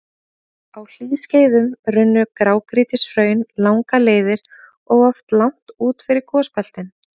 Á hlýskeiðum runnu grágrýtishraun langar leiðir og oft langt út fyrir gosbeltin.